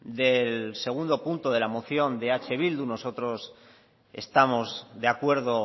del segundo punto de la moción de eh bildu nosotros estamos de acuerdo